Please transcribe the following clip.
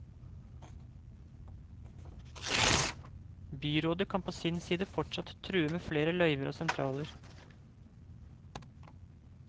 Byrådet kan på sin side fortsatt true med flere løyver og sentraler.